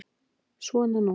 Svona nú.